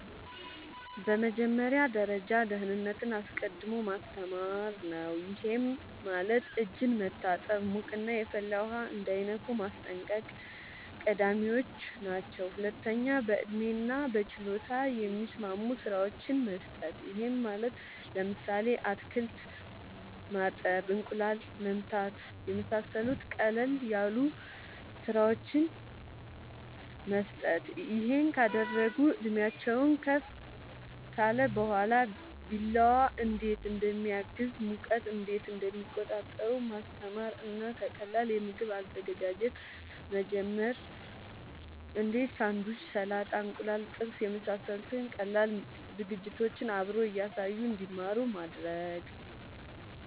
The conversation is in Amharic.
በመጀመሪያ ደረጃ ደህንነትን አስቀድሞ ማስተማር ነዉ ይሄም ማለት እጅን መታጠብ ሙቅና የፈላ ውሃ እንዳይነኩ ማስጠንቀቅ ቀዳሚወች ናቸው ሁለተኛ በእድሜና በችሎታ የሚስማሙ ስራወችን መስጠት ይሄም ማለት ለምሳሌ አትክልት ማጠብ እንቁላል መምታት የመሳሰሉት ቀለል ያሉ ስራወችን መስጠት ይሄን ካደረጉ እድሜአቸውም ከፍ ካለ በኋላ ቢላዋ እንዴት እንደሚያዝ ሙቀት እንዴት እንደሚቆጣጠሩ ማስተማር እና ከቀላል የምግብ አዘገጃጀት መጀመር እንዴ ሳንዱች ሰላጣ እንቁላል ጥብስ የመሳሰሉት ቀላል የምግብ ዝግጅቶችን አብሮ እያሳዩ እንድማሩ ማድረግ